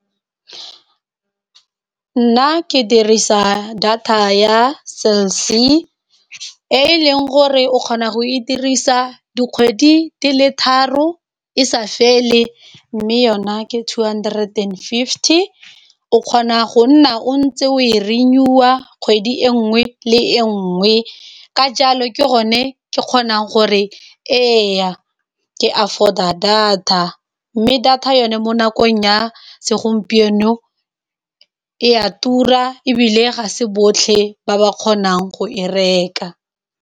Nna ke dirisa data ya Cell C, e leng gore o kgona go e dirisa dikgwedi di le tharo e sa fele, mme yona ke two hundred and fifty. O kgona go nna o ntse o e renew-a, kgwedi e nngwe le e nngwe. Ka jalo ke gone ke kgonang gore ee, ke afford-a data, mme data yone mo nakong ya segompieno e a tura, ebile ga se botlhe ba ba kgonang go e reka.